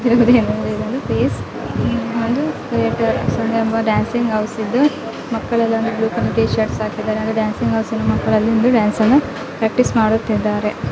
ಇಲ್ಲಿ ಕಾಣುತ್ತಿರುವುದು ಏನೆಂದರೆ ಇದು ಒಂದು ಡ್ಯಾನ್ಸಿಂಗ್ ಹೌಸ್ ಇದ್ದು ಮಕ್ಕಳೆಲ್ಲಾ ಒಂದು ಬ್ಲೂ ಕಲರ್ ಟಿ ಶಿರ್ಟ್ಸ್ ಆಕಿದಾದರೆ ಮಕ್ಕಳು ಒಂದು ಡಾನ್ಸ್ ಅನ್ನು ಪ್ರಾಕ್ಟೀಸ್ ಮಾಡುತ್ತಿದ್ದಾರೆ.